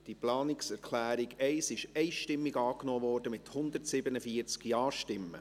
Die Planungserklärung 1 wurde einstimmig angenommen, mit 147 Ja-Stimmen.